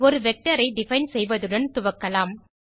ஒரு வெக்டர் ஐ டிஃபைன் செய்வதுடன் துவக்கலாம்